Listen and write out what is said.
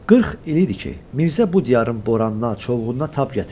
40 il idi ki, Mirzə bu diyarın boranına, çovğununa tab gətirirdi.